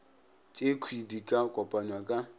tšekhwi di ka kopanywa ka